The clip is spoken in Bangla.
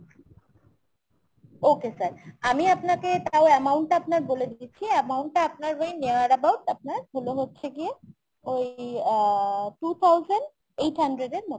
okay sir । আমি আপনাকে তাও amount তা আপনার বলে দিচ্ছি। amount টা আপনার ওই near about আপনার হলো হচ্ছে গিয়ে ওই আহ two thousand eight hundred এর মতন হচ্ছে sir।